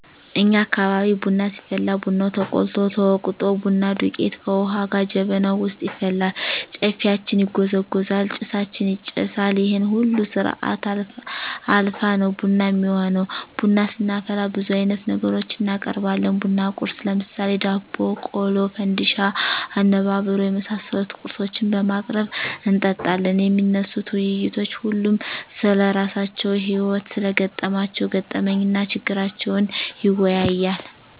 እኛ አካባቢ ቡና ሲፈላ ቡናው ተቆልቶ፣ ተወቅጦ፣ ቡና ዱቄቱ ከዉሀ ጋ ጀበናዉ ዉስጥ ይፈላል፣ ጨፌያችን ይጎዘጎዛል፣ ጭሳችን ይጨሳል ይሄን ሁሉ ስርአት አልፋ ነዉ ቡና እሚሆነዉ። ቡና ስናፈላ ብዙ አይነት ነገሮችን እናቀርባለን(ቡና ቁርስ ) ለምሳሌ፦ ዳቦ፣ ቆሎ፣ ፈንድሻ፣ አነባበሮ የመሳሰሉ ቁርሶችን በማቅረብ እንጠጣለን። የሚነሱት ዉይይቶች ሁሉም ስለራሳቸዉ ህይወት(ስለገጠማቸዉ ገጠመኝ) እና ችግራቸዉን ይወያያል፣